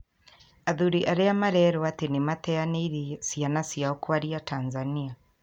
Athuri arĩa marerwo ati nĩ mateanĩirie ciana ciao kwaria Tanzania.